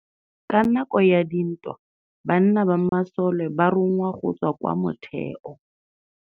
Ka nakô ya dintwa banna ba masole ba rongwa go tswa kwa mothêô.